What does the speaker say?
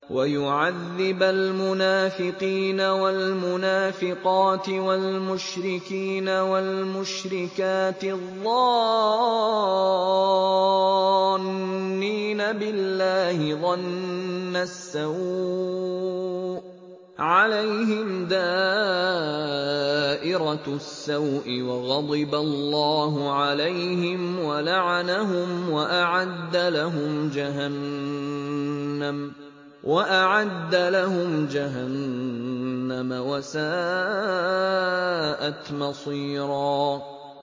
وَيُعَذِّبَ الْمُنَافِقِينَ وَالْمُنَافِقَاتِ وَالْمُشْرِكِينَ وَالْمُشْرِكَاتِ الظَّانِّينَ بِاللَّهِ ظَنَّ السَّوْءِ ۚ عَلَيْهِمْ دَائِرَةُ السَّوْءِ ۖ وَغَضِبَ اللَّهُ عَلَيْهِمْ وَلَعَنَهُمْ وَأَعَدَّ لَهُمْ جَهَنَّمَ ۖ وَسَاءَتْ مَصِيرًا